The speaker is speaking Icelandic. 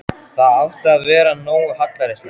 Það átti að vera nógu hallærislegt.